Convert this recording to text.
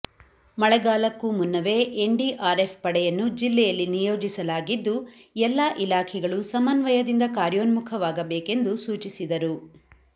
ಮಳೆಗಾಲಕ್ಕೂ ಮುನ್ನವೇ N D R F ಪಡೆಯನ್ನು ಜಿಲ್ಲೆಯಲ್ಲಿ ನಿಯೋಜಿಸಲಾಗಿದ್ದು ಎಲ್ಲ ಇಲಾಖೆಗಳು ಸಮನ್ವಯದಿಂದ ಕಾರ್ಯೋ ನ್ಮುಖವಾಗಬೇಕೆಂದು ಸೂಚಿಸಿದರು